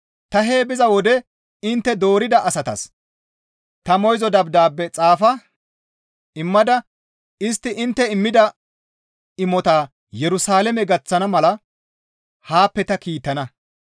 Ta hee biza wode intte doorida asatas ta moyzo dabdaabe xaafa immada, istti intte immida imotaa Yerusalaame gaththana mala haappe ta kiittana.